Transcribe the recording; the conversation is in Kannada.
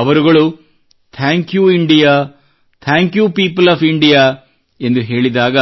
ಅವರುಗಳು ಧನ್ಯವಾದ ಭಾರತ ಭಾರತದ ಜನತೆಗೆ ಧನ್ಯವಾದಥಾಂಕ್ you India thank you people of ಇಂಡಿಯಾಎಂದು ಹೇಳಿದಾಗ